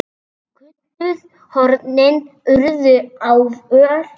Köntuð hornin urðu ávöl.